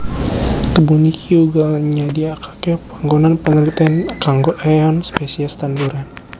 Kebun iki uga nyadiakake panggonan panelitèn kanggo éeon spesies tanduran